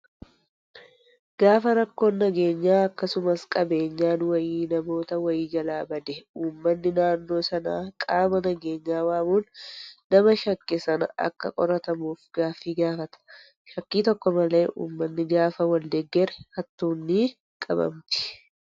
Gaafa rakkoon nageenyaa akkasumas qabeenyaan wayii namoota wayii jalaa bade uummanni naannoo sanaa qaama nageenyaa waamuun nama shakke sana akka qoratamuuf gaaffii gaafata. Shakkii tokko malee uummanni gaafa wal deeggare hattuun ni qabamti.